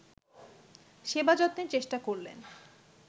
সেবাযত্নের চেষ্টা করলেন